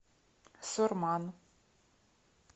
сурман